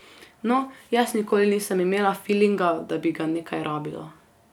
No, jaz nikoli nisem imela filinga, da bi ga nekaj rabila.